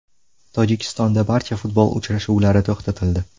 Tojikistonda barcha futbol uchrashuvlari to‘xtatildi.